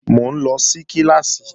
Mò ń lọ sí kíláàsì